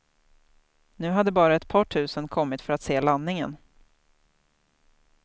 Nu hade bara ett par tusen kommit för att se landningen.